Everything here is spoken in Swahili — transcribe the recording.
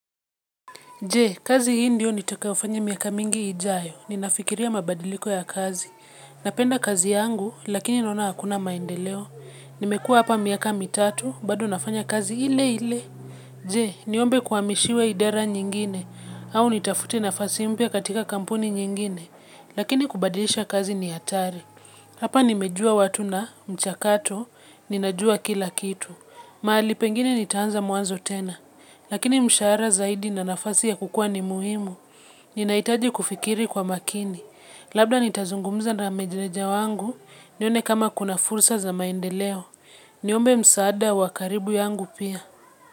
Je, kazi hii ndio nitakafanya miaka mingi ijayo? Ninafikiria mabadiliko ya kazi. Napenda kazi yangu, lakini naona hakuna maendeleo. Nimekua hapa miaka mitatu, bado nafanya kazi ile ile. Je, niombe kuamishiwe idara nyingine? Au nitafute nafasi mpya katika kampuni nyingine? Lakini kubadilisha kazi ni hatari. Hapa nimejua watu na mchakato, ninajua kila kitu. Mahali pengine nitaanza mwanzo tena. Lakini mshahara zaidi na nafasi ya kukua ni muhimu. Ninahitaji kufikiri kwa makini. Labda nitazungumza na meneja wangu. Nione kama kuna fursa za maendeleo. Niombe msaada wa karibu yangu pia.